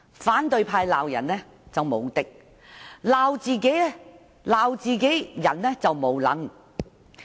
反對派在批評別人時簡直是"無敵"，但批評自己人時則"無能"。